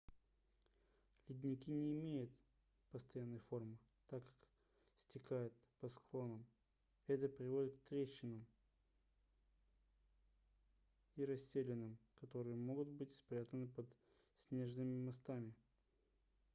ледники не имеют постоянной формы так как стекают по склонам это приводит к трещинам и расселинам которые могут быть спрятаны под снежными мостами